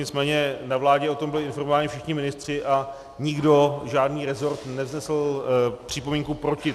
Nicméně na vládě o tom byli informováni všichni ministři a nikdo, žádný rezort nevznesl připomínku proti.